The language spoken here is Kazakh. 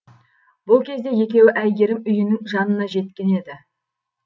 бұл кезде екеуі әйгерім үйінің жанына жеткен еді